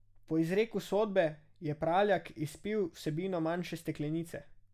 Po izreku sodbe je Praljak izpil vsebino manjše steklenice.